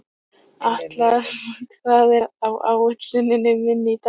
Atla, hvað er á áætluninni minni í dag?